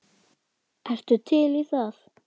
Ertu til í það?